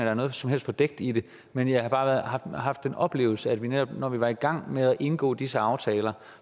er noget som helst fordækt i det men jeg har bare haft en oplevelse af at netop når vi var i gang med at indgå disse aftaler